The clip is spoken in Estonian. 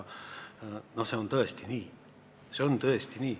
See on tõesti nii!